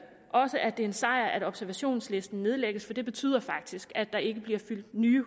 også at det er en sejr at observationslisten nedlægges for det betyder faktisk at der ikke bliver fyldt nye